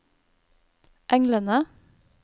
englene